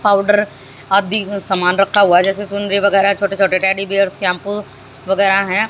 Powder आदि अं समान रखा हुआ है जैसे चुनरी वगैरह छोटे छोटे टेडी बीयर शैंपू वगैरह हैं।